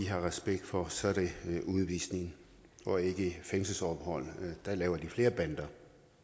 har respekt for så er det udvisning og ikke fængselsophold for der laver de flere bander